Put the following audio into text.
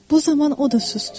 Bu zaman o da susdu.